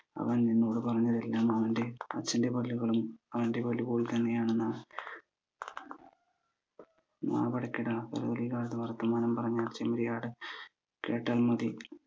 അവൻ എന്നോട് പറഞ്ഞതെല്ലാം അവന്റെ അച്ഛന്റെ പല്ലുകളും അവന്റെ പല്ല് പോലെ തന്നെയാണെന്നാണ് നാവടക്കെട ചെമ്മരിയാട് കേട്ടാൽ മതി